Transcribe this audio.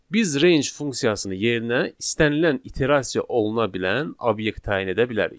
Biz range funksiyası yerinə istənilən iterasiya oluna bilən obyekt təyin edə bilərik.